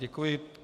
Děkuji.